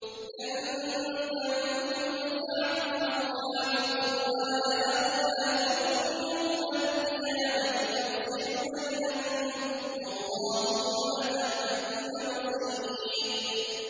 لَن تَنفَعَكُمْ أَرْحَامُكُمْ وَلَا أَوْلَادُكُمْ ۚ يَوْمَ الْقِيَامَةِ يَفْصِلُ بَيْنَكُمْ ۚ وَاللَّهُ بِمَا تَعْمَلُونَ بَصِيرٌ